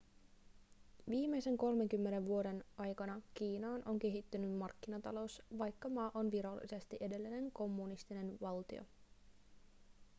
viimeisten 30 vuoden aikana kiinaan on kehittynyt markkinatalous vaikka maa on virallisesti edelleen kommunistinen valtio